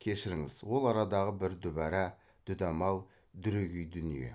кешіріңіз ол арадағы бір дүбара дүдамал дүрегей дүние